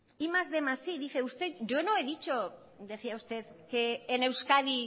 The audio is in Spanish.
primero más quinientos más i dice usted yo no he dicho decía usted que en euskadi